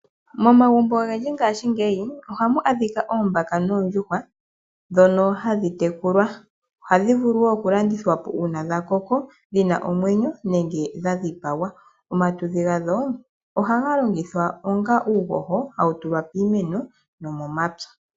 Momagumbo ogendji ngashingeyi ohamu adhika oombaka noondjuhwa dhono hadhi tekulwa, ohadhi vulu wo oku landithwapo uuna dha koko, dhina omwenyo nenge dha dhipagwa. Omatudhi gadho oha ga longithwa onga uuhoho, hawu tulwa piimeno no momapya.